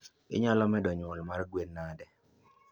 inyalo medo nnyuo mar gwen nade?